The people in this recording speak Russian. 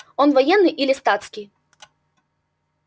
он военный или статский